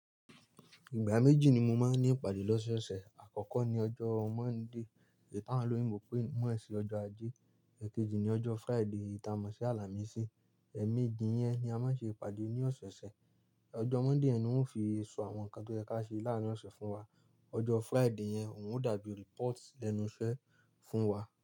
Ìgbà méjì ni mo máa ń ní ìpàdé lọ́sọ̀ọ̀sẹ̀. Àkọ́kọ́ ni ọjọ́ Monday eyi tí awoń oloyínbo pe mo sí ọjọ́ ajé", èkejì ni ọjọ́ Friday tí a mọ̀ sí "àlà mí sì". Ẹ̀méjì yẹn ni a máa ṣe ìpàdé ní ọ̀sẹ̀ẹ̀sẹ̀. Ọjọ́ Monday yẹn ni wọ́n fi sọ àwọn nǹkan tó ye kà ṣe láàárín ọ̀sẹ̀ fún wa. Ọjọ́ Friday yẹn òun ò dá bí report lẹ́nu iṣẹ́ fún wa.